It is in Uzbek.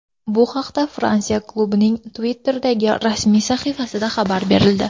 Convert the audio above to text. Bu haqda Fransiya klubining Twitter’dagi rasmiy sahifasida xabar berildi .